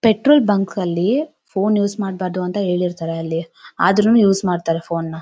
Petrol bunk ಅಲ್ಲಿ phone use ಮಾಡ್ಬಾರ್ದು ಅಂತ ಹೇಳಿರ್ತಾರೆ ಅಲ್ಲಿ ಆದ್ರೂನು ಯೂಸ್ ಮಾಡ್ತಾರೆ ಫೋನ್ ನ .